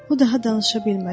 O daha danışa bilmədi.